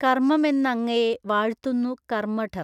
കർമ്മമെന്നങ്ങയെ വാഴ്ത്തുന്നു കർമ്മഠർ